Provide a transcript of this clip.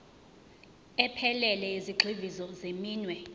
ephelele yezigxivizo zeminwe